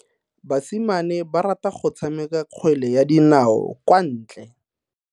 Basimane ba rata go tshameka kgwele ya dinao kwa ntle.